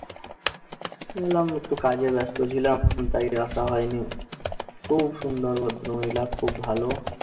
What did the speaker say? বললাম, একটু কাজে ব্যস্ত ছিলাম। কিন্তু side এ আসা হয়নি। খুব সুন্দর